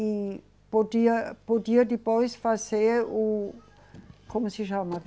E podia, podia depois fazer o... Como se chama?